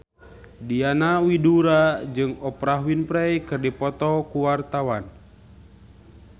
Diana Widoera jeung Oprah Winfrey keur dipoto ku wartawan